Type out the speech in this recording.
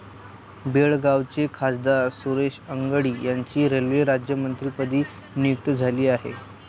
बेळगावचे खासदार सुरेश अंगडी यांची रेल्वे राज्यमंत्रीपदी नियुक्ती झाली आहे.